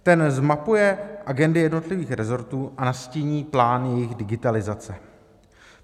Ten zmapuje agendy jednotlivých resortů a nastíní plán jejich digitalizace.